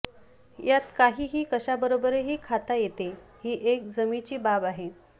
यात काहीही कशाबरोबरही खाता येते ही एक जमेची बाब आहे